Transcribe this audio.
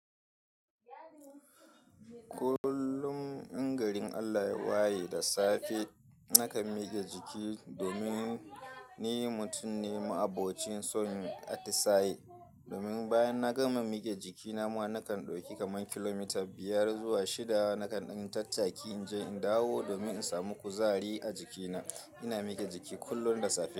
Kullum in garin Allah waye da safe nakan mike jiki domin ni mutum ne ma'abocin son atisaye. Domin bayan na gama miƙe jiki nama nakan dauki kaman kilomita biyar zuwa shida nakan ɗan tattaki in je in dawo domin in samu kuzari a jikina. Ina miƙe jiki kullum da safe.